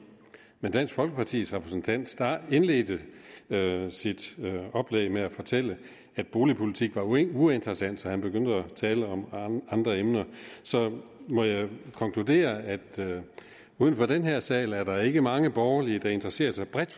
men dansk folkepartis repræsentant indledte sit oplæg med at fortælle at boligpolitik var uinteressant så han begyndte at tale om andre emner så jeg må konkludere at uden for den her sal er der ikke mange borgerlige der interesserer sig bredt